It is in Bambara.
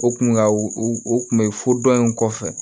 O kun ka o kun be fo dɔni kɔfɛ